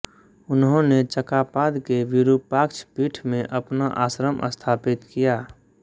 उन्होंने चकापाद के वीरूपाक्ष पीठ में अपना आश्रम स्थापित किया